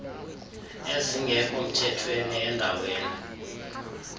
ezingekho mthethweni endaweni